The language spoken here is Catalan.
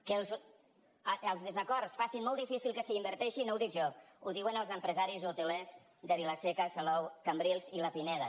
que els desacords facin molt difícil que s’hi inverteixi no ho dic jo ho diuen els empresaris hotelers de vilaseca salou cambrils i la pineda